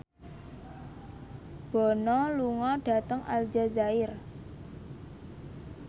Bono lunga dhateng Aljazair